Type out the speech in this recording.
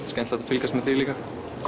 skemmtilegt að fylgjast með líka